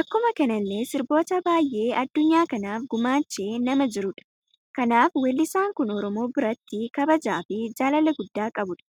Akkuma kanalle sirboota baay'ee addunyaa kanaaf gumaache nama jirudha. Kanaaf wellisan kun oromoo biratti kabajaa fi jaalala gudda qabudha.